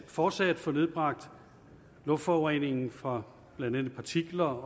fortsat at få nedbragt luftforureningen fra blandt andet partikler